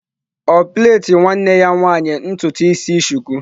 Ọ plait nwanne ya nwanyị ụdị ntutu isi?